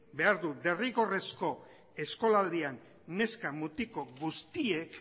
behar du derrigorrezko eskolaldian neska mutiko guztiek